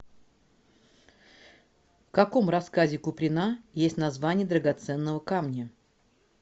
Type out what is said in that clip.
в каком рассказе куприна есть название драгоценного камня